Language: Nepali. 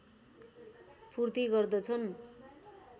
पूर्ति गर्दछन्